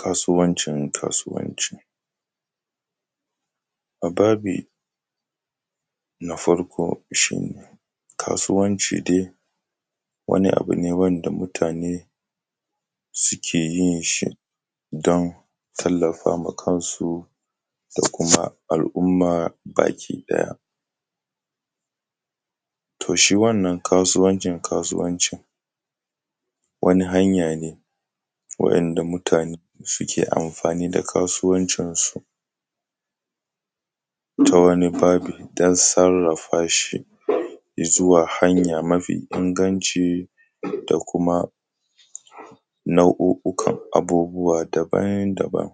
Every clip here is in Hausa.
Kasuwanci kasuwanci, a babi na farko shi kasuwanci dai wani abu ne wanda mutane ke yin shi don su tamaka ma kansu al'umma baki ɗaya. To shi wannan kasuwancin kasuwanci wani hanya ne waɗanda mutane suke amfani da kasuwancinsu ta wani babi don sarrafa shi ya zuwa wata hanya mafi inganci da kuma nau'o'ukan abubuwa daban-daban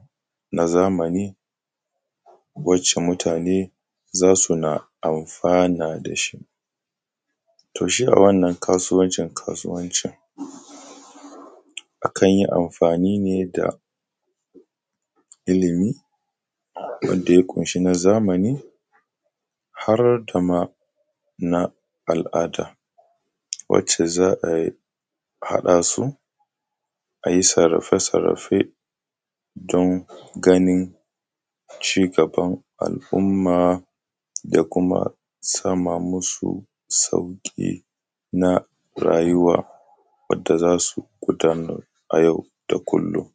na zamani wacce mutane za su na amfanin da shi. Wato shi a wannan kasuwancin kasuwanci akan yi amfani ne da ilimi wanda ya kumshi na zamani har da ma na al'ada wacce za ai haɗa su a yi sarrafe-sarrafe don ganin ci gaban al'umma da kuma sama musu sauƙi na rayuwa wanda za su gudanar a yau da kullum.